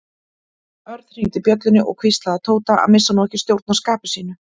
Örn hringdi bjöllunni og hvíslaði að Tóta að missa nú ekki stjórn á skapi sínu.